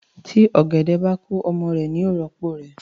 Tí ọ̀gẹ̀dẹ̀ bá kú ọmọ ẹ̀ ni í rọ́pò rẹ̀